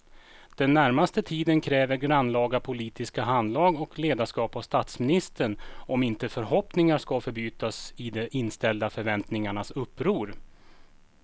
Den närmaste tiden kräver grannlaga politiskt handlag och ledarskap av statsministern om inte förhoppningarna ska förbytas i de inställda förväntningarnas uppror.